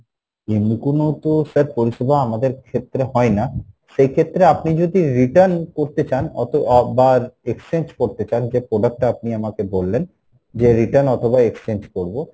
এমনি কোনো তো sir পরিষেবা আমাদের ক্ষেত্রে হয়না, সেই ক্ষেত্রে আপনি যদি return করতে চান অতো আহ বা exchange করতে চান যে product টা আপনি আমাকে বললেন, যে return অথবা exchange করবো,